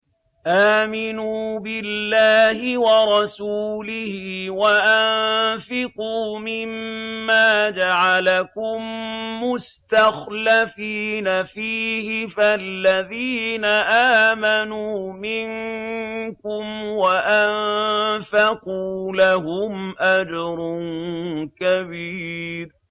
آمِنُوا بِاللَّهِ وَرَسُولِهِ وَأَنفِقُوا مِمَّا جَعَلَكُم مُّسْتَخْلَفِينَ فِيهِ ۖ فَالَّذِينَ آمَنُوا مِنكُمْ وَأَنفَقُوا لَهُمْ أَجْرٌ كَبِيرٌ